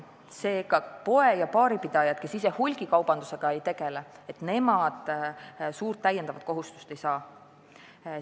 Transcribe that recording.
Seega, poe- ja baaripidajad, kes ise hulgikaubandusega ei tegele, suurt täiendavat kohustust ei saa.